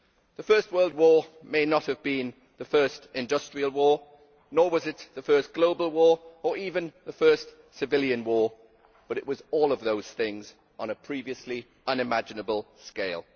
The First World War may not have been the first industrial war, nor was it the first global war or even the first civilian war, but it was all of those things on a previously unimaginable scale.